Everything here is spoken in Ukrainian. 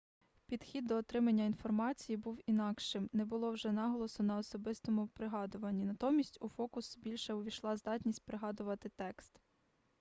підхід до отримання інформації був інакшим не було вже наголосу на особистому пригадуванні натомість у фокус більше увійшла здатність пригадувати текст